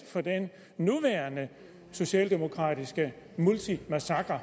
for den nuværende socialdemokratiske multimassakre